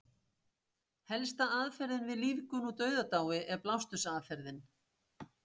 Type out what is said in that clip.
Helsta aðferðin við lífgun úr dauðadái er blástursaðferðin.